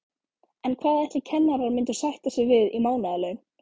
En hvað ætli kennarar myndu sætta sig við í mánaðarlaun?